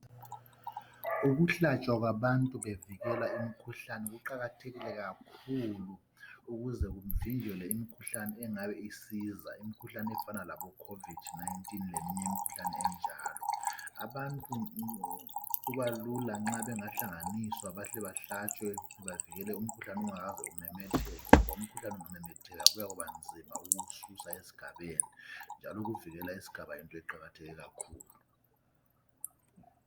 Ukuhlatshwa kwabantu bevikelwa imkhuhane kuqakathekile kakhulu, ukuze kuvinjwelwe imkhuhlane engaba isiza, imikhuhlane efana laboCovid 19 leminye imikhhuhlane njalo. Abantu kubalula nxa bengahlanganiswa bahle bahlatshwe bavikele umkhuhlane ungakamemetheki. Ngoba umkhuhlane ungamametheka kubanzima ukuwususa esigabeni. Njalo ukuvikela isigaba yinto eqakathekileyo kakhulu.